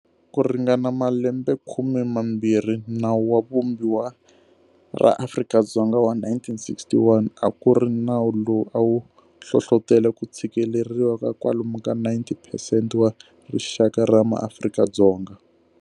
Ku ringana malembekhume mambirhi, Nawu wa Vumbiwa ra Afrika-Dzonga wa 1961 a ku ri nawu lowu a wu hlohlotela ku tshikeleriwa ka kwalomu ka 90 percent wa rixaka ra maAfrika-Dzonga.